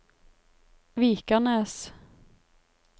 Vikanes